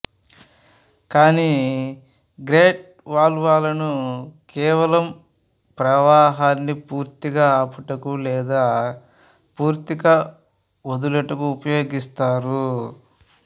కాని గేట్ వాల్వులను కేవలం ప్రవాహాన్ని పూర్తిగా ఆపుటకు లేదా పూర్తిగా వదులుటకు ఉపయోగిస్తారు